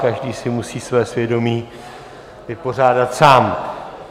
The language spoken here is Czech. Každý si musí své svědomí vypořádat sám.